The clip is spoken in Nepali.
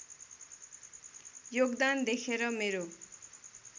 योगदान देखेर मेरो